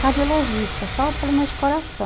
Cardiologista, só problemas de coração.